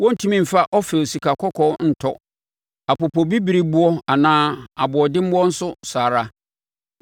Wɔrentumi mfa Ofir sikakɔkɔɔ ntɔ apopobibirieboɔ anaa aboɔdemmoɔ nso saa ara.